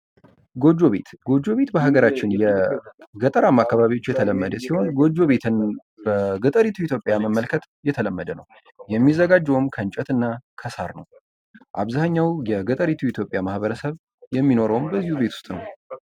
ጎጆ ቤት ፦ ጎጆ ቤት በሀገራችን የገጠራማ አካባቢዎች የተለመደ ቢሆን ጎጆ ቤትን በገጠሪቱ ኢትዮጵያ መመልከት የተለመደ ነው ። የሚዘጋጀውም ከእንጨትና ከሳር ነው ። አብዛኛው የገጠሪቱ ኢትዮጵያ ማህበረሰብ የሚኖረውም በዚሁ ቤት ውስጥ ነው ።